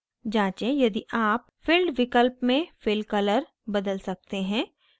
जाँचें यदि आप filled विकल्प में fill color बदल सकते हैं